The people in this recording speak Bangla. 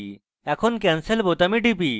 এখন আমি cancel বোতামে টিপি